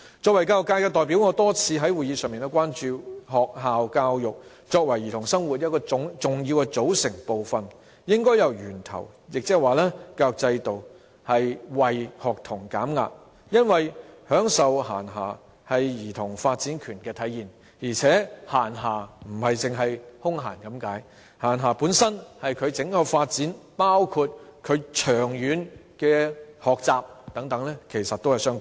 作為教育界的代表，我多次在會議上表達關注，認為學校教育作為兒童生活的重要組成部分，應由源頭，亦即教育制度，為學童減壓，因為享受閒暇是兒童發展權的體現，而且閒暇並非僅是空閒的意思，閒暇本身與兒童的整體發展，包括兒童長遠學習，其實是相關的。